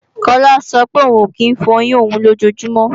Kọ́lá sọ pé òun ò kí ń fọyín òun lójojúmọ́